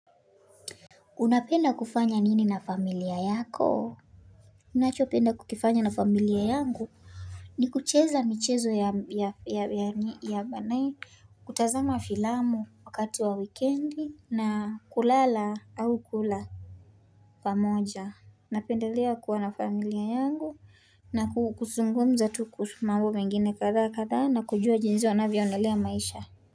Unapenda kufanya nini na familia yako? Ninachopenda kukifanya na familia yangu ni kucheza michezo ya manai kutazama filamu wakati wa wikendi na kulala au kula pamoja. Napendelea kuwa na familia yangu na kuzungumza tu kuhusu mambo mengine kadhaa kadhaa na kujua jinsi wanavyoendelea na maisha.